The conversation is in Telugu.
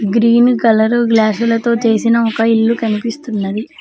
గ్రీన్ కలర్ గ్లాసులతో చేసిన ఒక ఇల్లు కనిపిస్తున్నది.